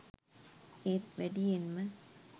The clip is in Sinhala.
ඒත් වැඩියෙන්ම